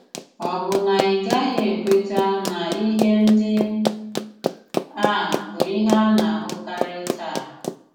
Ọ̀ bụ na ị gaghị ekwètà na ihe ndị à bụ ihe à na-ahùkàrị tàà?